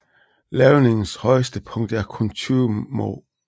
Lavningens højeste punkt er kun 20 moh